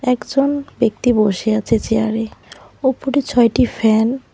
একজন ব্যাক্তি বসে আছে চেয়ারে ওপরে ছয়টি ফ্যান ।